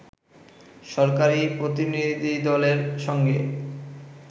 সরকারি প্রতিনিধিদলের সঙ্গে